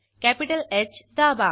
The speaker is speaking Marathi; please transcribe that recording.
कॅपिटल ह दाबा